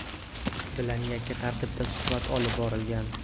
bilan yakka tartibda suhbat olib borgan.